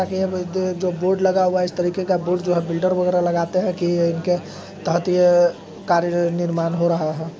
तकिए बिद जो बोर्ड लगा हुआ है इस तरीके का बोर्ड जो कि बिल्डर वगैरा लगाते हैं कि इनके ततीह कार्य निर्माण हो रहा है।